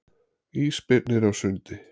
Ísbirnir á sundi.